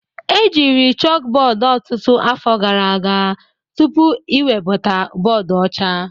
Ejiri chalkboard ọtụtụ afọ gara aga tupu iwebata bọọdụ ọcha